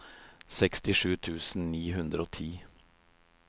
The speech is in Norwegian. sekstisju tusen ni hundre og ti